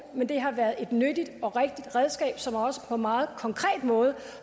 men det har været nyttige og rigtige redskaber som også på en meget konkret måde